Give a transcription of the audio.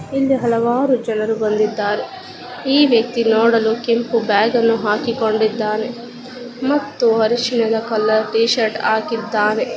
ಇಲ್ಲಿ ಹಲವಾರು ಜನರು ಬಂದಿದ್ದಾರೆ ಈ ವ್ಯಕ್ತಿ ನೋಡಲು ಕೆಂಪು ಬ್ಯಾಗ್ ಅನ್ನು ಹಾಕಿಕೊಂಡಿದ್ದಾನೆ ಮತ್ತು ಅರಸಿನ ದ ಕಲರ್ ಟೀಶರ್ಟ್ ಹಾಕಿಕೊಂಡಿದ್ದಾನೆ.